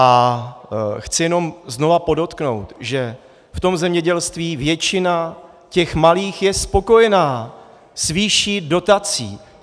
A chci jenom znova podotknout, že v tom zemědělství většina těch malých je spokojena s výší dotací.